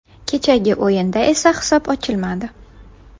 Kechagi o‘yinda esa hisob ochilmadi.